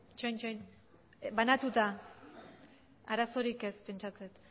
itxaron banatuta arazorik ez pentsatzen